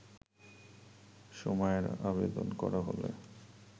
সময়ের আবেদন করা হলে